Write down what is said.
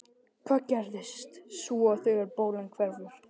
Hvað gerist svo þegar bólan hverfur?